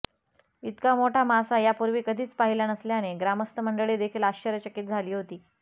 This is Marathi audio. इतका मोठा मासा या पूर्वी कधीच पाहिला नसल्याने ग्रामस्थ मंडळी देखील आश्चर्यचकित झाली होती